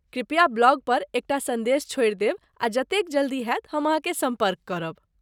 कृप्या ब्लॉग पर एकटा संदेश छोड़ि देब आ जते जल्दी होयत हम अहाँकेँ सम्पर्क करब।